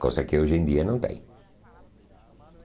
Coisa que hoje em dia não tem.